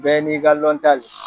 Bɛɛ n'i ka lɔnta le.